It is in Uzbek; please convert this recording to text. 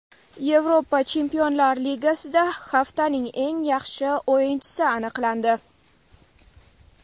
Yevropa Chempionlar Ligasida haftaning eng yaxshi o‘yinchisi aniqlandi.